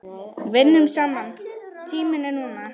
Vinnum saman Tíminn er núna.